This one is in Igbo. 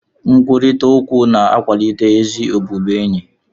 Nkwurịta okwu na-akwalite ezi ọbụbụenyi